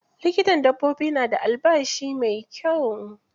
Likitan dabbobi na da albashi mai kyau.